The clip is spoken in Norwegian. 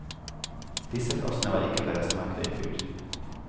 Disse plassene var ikke på restmarkedet i fjor.